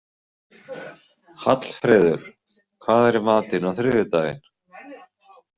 Hallfreður, hvað er í matinn á þriðjudaginn?